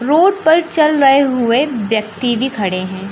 Road पर चल रहे हुए व्यक्ति भी खड़े हैं।